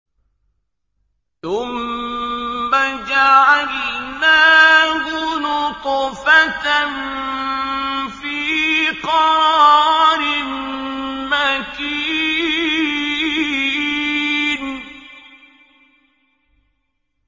ثُمَّ جَعَلْنَاهُ نُطْفَةً فِي قَرَارٍ مَّكِينٍ